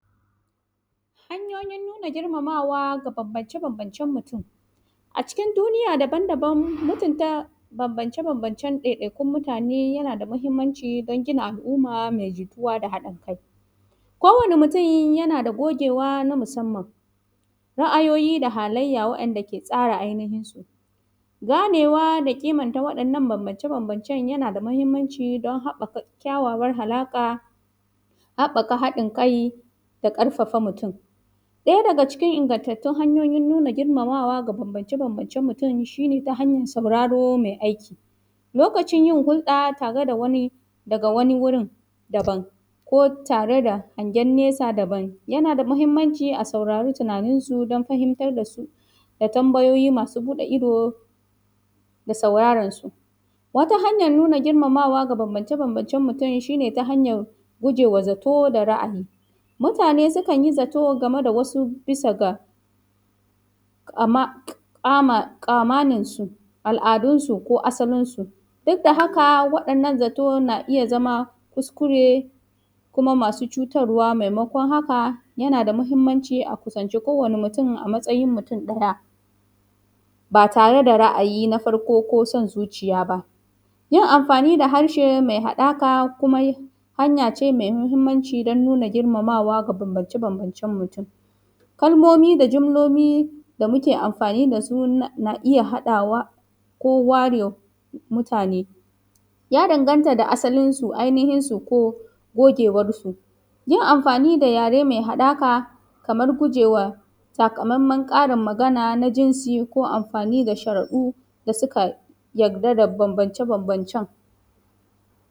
Hanyoyin nuna girmama da bambance-bambance mutum, a cikin duniya daban-daban mutun bambance-bambancen mutane yana da mahinmanci don gina al’umma me jituwa da haɗin kai kowane mutum yana da gogewa na musamman, ra’ayoyi da halayya wanda ke gane ainihinsu. Ganewa da ƙiman ta waɗannan bambance-bambance yana da mahinmanci don haka kyawawan halaƙa, haɓaka haɗin kai da ƙarfafa mutum na ɗaya daga cikin nuna ingataattaun hanyoyin nuna girmawa da bambance-bambancen mutum shi ne ta hanyan sauraron me aiki, lokacin yin hurɗa tare da wani daga wani wurin daban ko tare da hangen nesa daban yana da mahinmanci, a saurari tunaninsu don fahimtar da su da tambayoyi masu buɗe ido da sauraransu. Wata hanyan nuna girmamawa da bambance-bambancen mutum shi ne ta hanyan guje ma zato, da ra’ayi mutane sukan yi zato game da wasu bisa ga, amma ƙamaninsu, al’adunsu ko asalinsu duk da haka waɗannan zato na iya zama kuskure kuma masu cutarwa da taimakon. Haka yana da mahinmanci a kusanci kowane mutum a matsayin mutum ɗaya ba tare da ra’ayi na safrko ko san zuciya ba, yin amfani da harshe me haɗaka kuma hanya ce me mahinmanci don nuna girmamawa ga bambance-bamcen mutum, kalmomi da jumloli da muke amfani da su na iya haɗawa ko ware mutane ya danganta da asalinsu ainihin su ko gogewarsu, yin amfani da yare me haɗaka kamar gujewa saka mammen ƙarin magana na jinsi ko amfani da sharaɗu da suka yarda da bambance-bambancen.